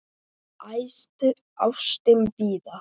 Æðsta ástin blíða!